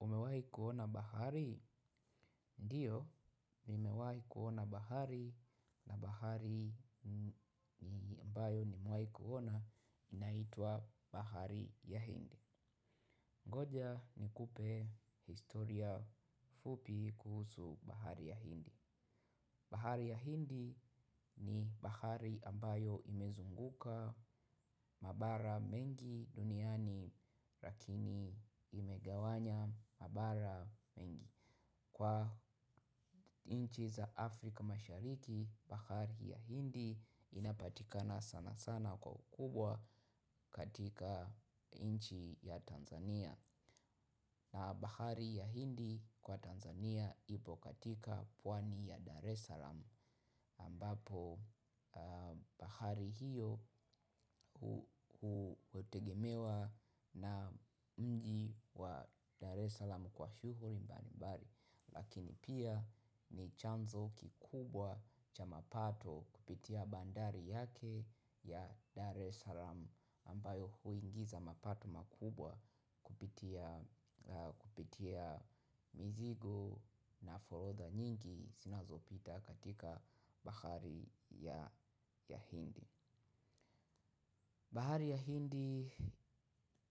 Umewahi kuona bahari? Ndio, nimewahi kuona bahari na bahari ni ambayo nimewahi kuona, inaitwa bahari ya Hindi. Ngoja, ni kupe historia fupi, kuhusu bahari ya hindi. Bahari ya Hindi, ni bahari ambayo imezunguka mabara mengi duniani, rakini imegawanya mabara mengi. Kwa inchi za Afrika Mashariki, bahari ya hindi inapatikana sana sana kwa ukubwa, katika inchi ya Tanzania. Na bahari ya Hindi, kwa Tanzania ipo katika pwani ya Dar es Salaam, ambapo, bahari hio hutegemewa na mji wa Dar es Salaam kwa shugluri mbali mbali. Lakini pia, ni chanzo kikubwa, cha mapato kupitia bandari yake ya Dare Es alam ambayo huingiza mapato makubwa, kupitia kupitia mizigo na forotha nyingi sinazo pita katika bahari ya Hindi. Bahari ya hindi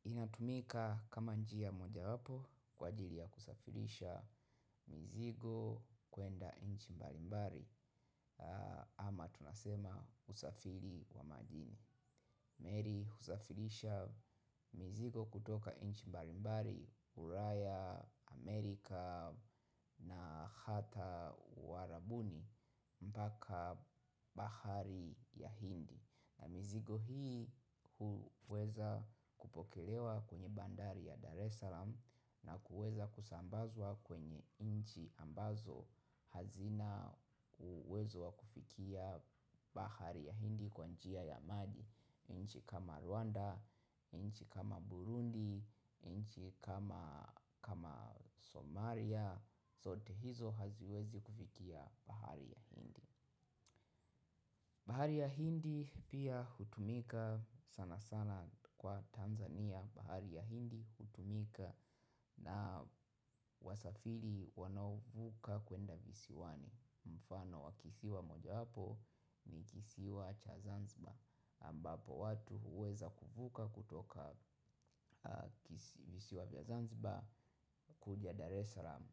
inatumika kama njia mojawapo kwa ajiri ya kusafirisha mizigo, kuenda inchi mbalimbari ama tunasema usafiri wa majini. Mary huzafilisha mizigo kutoka inchi mbalimbari Uraya, Amerika na hata Uarabuni mpaka, bahari ya Hindi. Mizigo hii, huweza kupokelewa kwenye bandari ya Dar Es Salam, na kuweza kusambazwa kwenye inchi ambazo hazina uwezo wa kufikia bahari ya Hindi, kwa njia ya maji. Nchi kama Rwanda, inchi kama Burundi, inchi kama Somalia, sote hizo haziwezi kufikia bahari ya Hindi. Bahari ya Hindi pia, hutumika sana sana kwa Tanzania, bahari ya Hindi hutumika na wasafiri wanaovuka kuenda visiwani. Mfano wa kisiwa moja wapo, ni kisiwa cha Zanzibar ambapo watu huweza kuvuka kutoka visiwa vya Zanzibar, kuja Dar eslam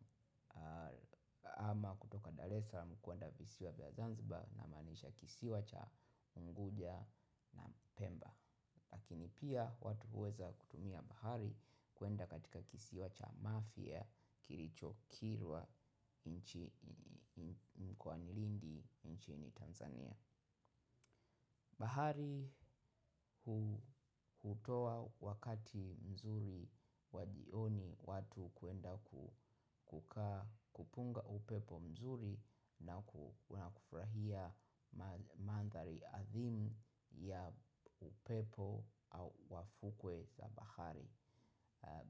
ama kutoka Dar eslam kuanda visiwa vya Zanziba na manisha kisiwa cha Unguja na Pemba. Lakini pia, watu huweza kutumia bahari kuenda katika kisiwa cha mafia, kirichokirwa mkwanilindi nchini Tanzania. Bahari hutoa wakati mzuri wa jioni watu hukwenda kukaa, kupunga upepo mzuri na kufurahia manthari athimu, ya upepo, au wafukwe za bahari.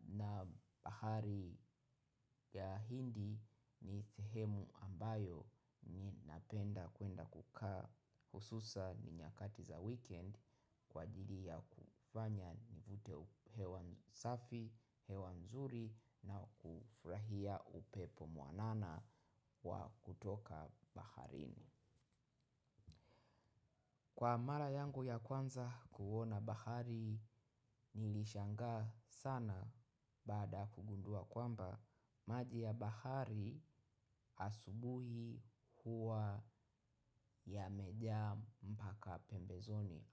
Na bahari ya Hindi, ni thehemu ambayo ni napenda kuenda kukaa, hususa ni nyakati za weekend kwa ajili ya kufanya nivute hewa safi, hewa nzuri na kufurahia upepo mwanana, wa kutoka baharini. Kwa mara yangu ya kwanza, ku uona bahari, nilishangaa sana, baada ya kugundua kwamba, maji ya bahari asubuhi huwa yamejaa mpaka pembezoni.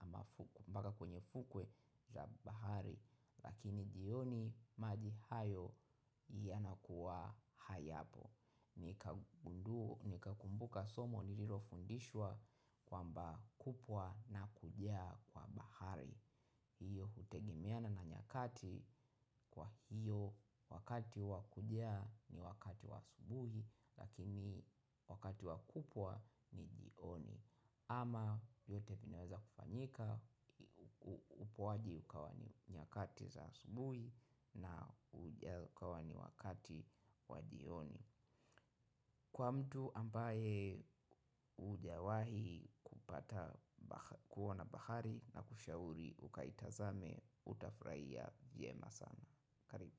Mbaka kwenye fukwe ya bahari lakini, jioni, maji hayo yanakuwa hayapo. Nikakumbuka somo nilirofundishwa kwamba kupwa na kujaa kwa bahari, hiyo hutegemeana na nyakati, kwa hiyo wakati wakujaa ni wakati wa asubuhi, lakini wakati wakupwa ni jioni. Ama, yote pia inaweza kufanyika. Upoaji ukawa ni nyakati za asubuhi na ujaa kawa ni wakati wa jioni. Kwa mtu ambaye, hujawahi kupata kuona bahari na kushauri ukaitazame utafuraia vyema sana. Karibu.